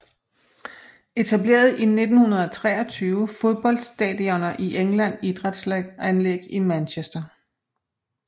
Etableret i 1923 Fodboldstadioner i England Idrætsanlæg i Manchester